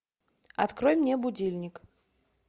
открой мне будильник